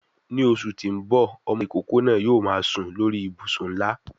Ni oṣù tí ń bò, ọmọ ìkókó náà yóò máa sùn sórí I ìbùsùn ńlá.